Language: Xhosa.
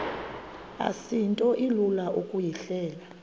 asinto ilula ukuyihleba